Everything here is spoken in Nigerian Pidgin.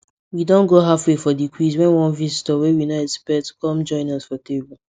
we don go halfway for the quiz when one visitor wey we nor expect com join us for table